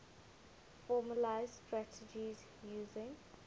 formalised strategies using